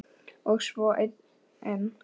Og svo einn enn.